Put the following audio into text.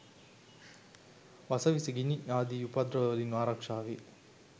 වස විස, ගිනි ආදි උපද්‍රව වලින් ආරක්‍ෂාවේ.